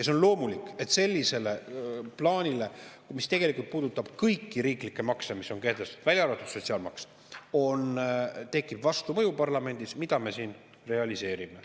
On loomulik, et sellisele plaanile, mis tegelikult puudutab kõiki kehtestatud riiklikke makse peale sotsiaalmaksu, tekib parlamendis vastumõju, mida me siin realiseerime.